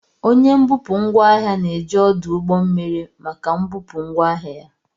Onye mbupụ ngwaahia na-eji ọdụ ụgbọ mmiri maka mbupụ ngwaahịa ya.